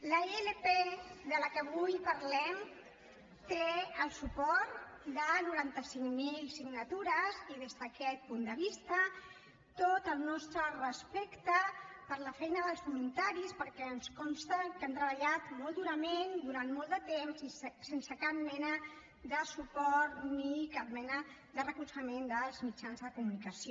la ilp de què avui parlem té el suport de noranta cinc mil signatures i des d’aquest punt de vista tot el nostre respecte per la feina dels voluntaris perquè ens consta que han treballat molt durament durant molt de temps i sense cap mena de suport ni cap mena de recolzament dels mitjans de comunicació